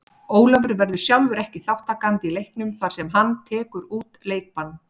Ólafur verður sjálfur ekki þátttakandi í leiknum þar sem hann tekur út leikbann.